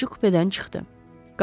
Bələdçi kupedən çıxdı.